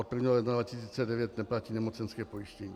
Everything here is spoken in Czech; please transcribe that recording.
Od 1. ledna 2009 neplatí nemocenské pojištění.